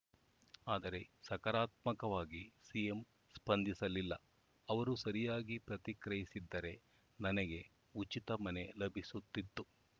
ಆದರೆ ಸಕರಾತ್ಮಕವಾಗಿ ಸಿಎಂ ಸ್ಪಂದಿಸಲಿಲ್ಲ ಅವರು ಸರಿಯಾಗಿ ಪ್ರತಿಕ್ರಿಯಿಸಿದ್ದರೆ ನನಗೆ ಉಚಿತ ಮನೆ ಲಭಿಸುತ್ತಿತ್ತು